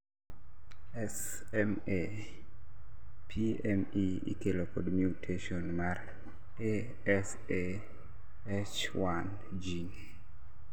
SMA-PME ikelo kod mutation mar ASAH1 gene